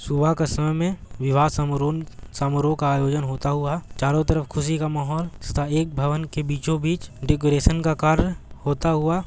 सुबह का समय मे विवाह समारोह समरोह का आयोजन होता हुआ चारो तरफ ख़ुशी का माहौल तथा एक भवन के बीचों-बीच डेकोरेशन का कार्य होता हुआ --